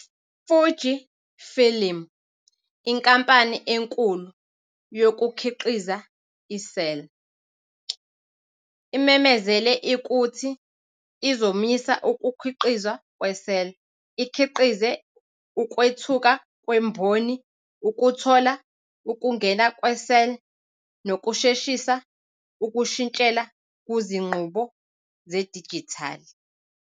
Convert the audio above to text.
Fuji Film, inkampani enkulu yokukhiqiza i-cel, imemezele ukuthi izomisa ukukhiqizwa kwe-cel, ikhiqize ukwethuka kwemboni ukuthola ukungena kwe-cel nokusheshisa ukushintshela kuzinqubo zedijithali.